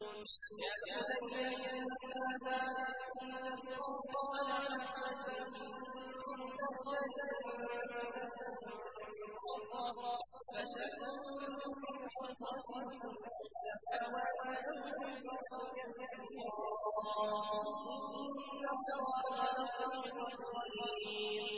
يَا بُنَيَّ إِنَّهَا إِن تَكُ مِثْقَالَ حَبَّةٍ مِّنْ خَرْدَلٍ فَتَكُن فِي صَخْرَةٍ أَوْ فِي السَّمَاوَاتِ أَوْ فِي الْأَرْضِ يَأْتِ بِهَا اللَّهُ ۚ إِنَّ اللَّهَ لَطِيفٌ خَبِيرٌ